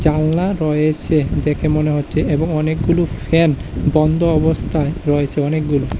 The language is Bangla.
রয়েছে দেখে মনে হচ্ছে এবং অনেকগুলো ফ্যান বন্ধ অবস্থায় রয়েছে অনেকগুলো।